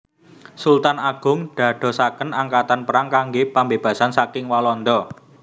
Sultan Agung dadosaken angkatan perang kangge pambebasan saking Walanda